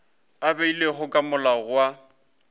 a beilwego ke molao wa